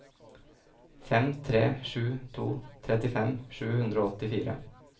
fem tre sju to trettifem sju hundre og åttifire